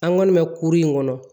An kɔni bɛ kuru in kɔnɔ